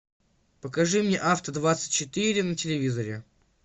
покажи мне авто двадцать четыре на телевизоре